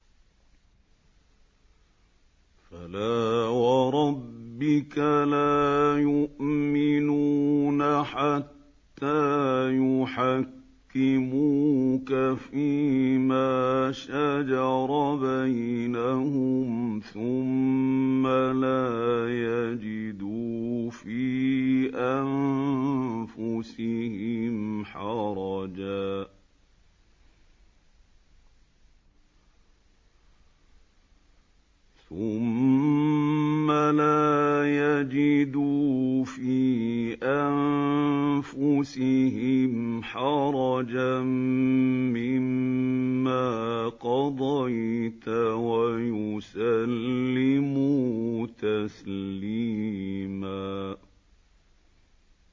فَلَا وَرَبِّكَ لَا يُؤْمِنُونَ حَتَّىٰ يُحَكِّمُوكَ فِيمَا شَجَرَ بَيْنَهُمْ ثُمَّ لَا يَجِدُوا فِي أَنفُسِهِمْ حَرَجًا مِّمَّا قَضَيْتَ وَيُسَلِّمُوا تَسْلِيمًا